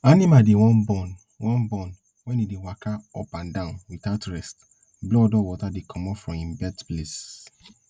animal dey wan born wan born wen e dey waka up and down without rest blood or water dey comot from im birth place